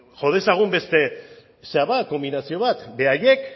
jo dezagun beste konbinazio bat beraiek